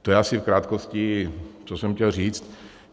To je asi v krátkosti, co jsem chtěl říct.